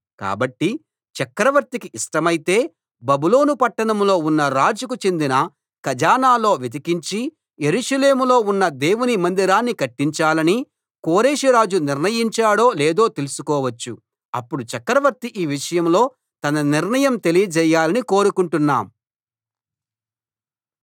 కాబట్టి చక్రవర్తికి ఇష్టమైతే బబులోను పట్టణంలో ఉన్న రాజుకు చెందిన ఖజానాలో వెతికించి యెరూషలేములో ఉన్న దేవుని మందిరాన్ని కట్టించాలని కోరెషు రాజు నిర్ణయించాడో లేదో తెలుసుకోవచ్చు అప్పుడు చక్రవర్తి ఈ విషయంలో తన నిర్ణయం తెలియజేయాలని కోరుకొంటున్నాం